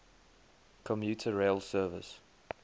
commuter rail service